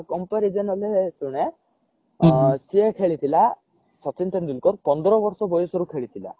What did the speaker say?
comparison ହେଲେ ଶୁଣେ ସିଏ ଖେଳିଥିଲା ସଚିନ ତେନ୍ଦୁଲକର ପନ୍ଦର ବର୍ଷ ବୟସ ରୁ ଖେଳିଥିଲା